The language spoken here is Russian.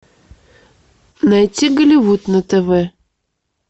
найти голливуд на тв